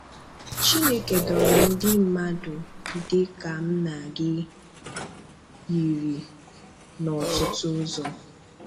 Chinékē dòrò ndị mmadụ dị ka m na gị yíri n’ọ̀tụtụ ụzọ